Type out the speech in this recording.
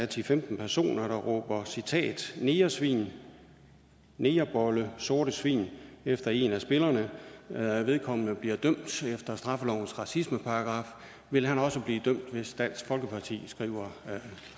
til femten personer råber citat negersvin negerbolle sorte svin efter en af spillerne vedkommende bliver dømt efter straffelovens racismeparagraf vil han også blive dømt hvis dansk folkeparti skriver